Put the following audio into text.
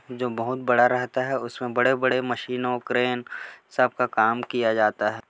जो बहुत बड़ा रहता है उसमें बड़े-बड़े मशीन और क्रैन सब का काम किया जाता है।